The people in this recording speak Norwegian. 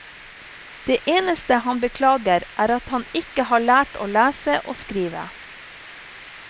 Det eneste han beklager er at han ikke har lært å lese og skrive.